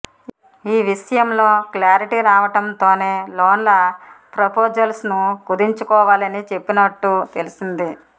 ఈ విషయంలో క్లారిటీ రావడంతోనే లోన్ల ప్రపోజల్స్ను కుదించుకోవాలని చెప్పినట్టు తెలిసింది